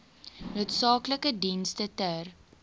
noodsaaklike dienste ter